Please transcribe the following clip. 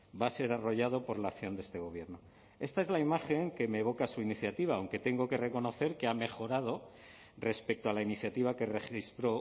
va a ser arrollado por la acción de este gobierno esta es la imagen que me evoca su iniciativa aunque tengo que reconocer que ha mejorado respecto a la iniciativa que registró